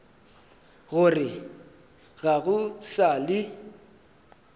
gore ga go sa le